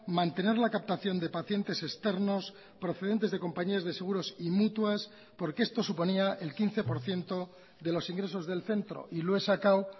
mantener la captación de pacientes externos procedentes de compañías de seguros y mutuas porque esto suponía el quince por ciento de los ingresos del centro y lo he sacado